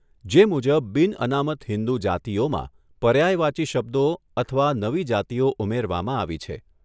જે મુજબ બિનઅનામત હિન્દુ જાતિઓમાં પર્યાયવાચી શબ્દો અથવા નવી જાતિઓ ઉમેરવામાં આવી છે.